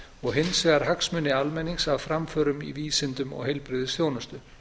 og hins vegar hagsmuni almennings af framförum í vísindum og heilbrigðisþjónustu